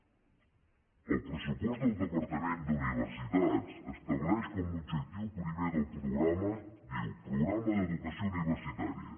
el pressupost del departament d’universitats estableix com a objectiu primer del programa diu programa d’educació universitària